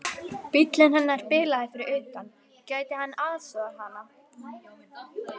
Bíllinn hennar bilaði fyrir utan, gæti hann aðstoðað hana?